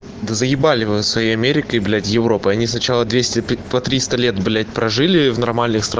да заебали вы со своей америкой и европой они сначала двести триста лет блять прожили в нормальных странах